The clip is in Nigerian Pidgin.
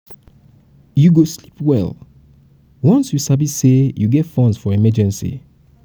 you go sleep um well once you sabi say you get funds for um emergency.